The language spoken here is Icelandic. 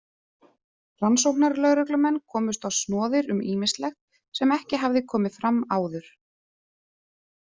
Rannsóknarlögreglumenn komust á snoðir um ýmislegt sem ekki hafði komið fram áður.